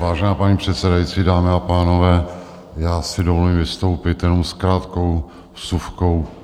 Vážená paní předsedající, dámy a pánové, já si dovolím vystoupit jenom s krátkou vsuvkou.